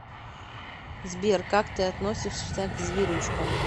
сбер как ты относишься к зверюшкам